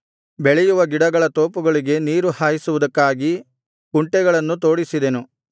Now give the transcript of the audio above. ಬೆಳೆಯುವ ಗಿಡಗಳ ತೋಪುಗಳಿಗೆ ನೀರು ಹಾಯಿಸುವುದಕ್ಕಾಗಿ ಕುಂಟೆಗಳನ್ನು ತೋಡಿಸಿದೆನು